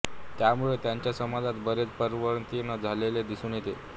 त्यामुळे त्यांच्या समाजात बरेच परिवर्तन झालेले दिसून येते